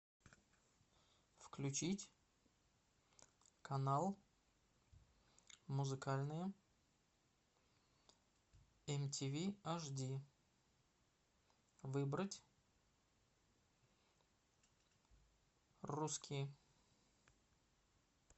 включить канал музыкальные мтв ашди выбрать русские